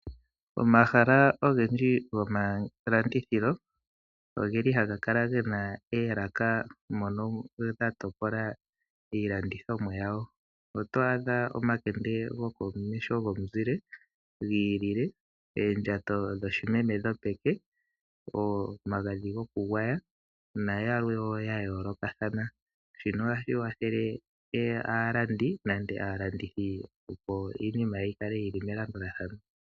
Omahala ogendji gomalandithilo ogeli haga kala gena oolaka mono dha topola iilandithomwa yawo. Oto adha omakende gokomeho gomuzile gi ilile, oondjato dhoshimeme dhopeke, omagadhi gokugwaya nayilwe wo ya yoolokathana. Shino ohashi kwathele aalandi nenge aalandithi opo iinima yi kale yili melandulathano.